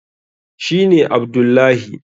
shi ne Abdullahi